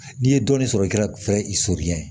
N'i ye dɔɔnin sɔrɔ i ka fɛɛrɛ i soli ɲɛ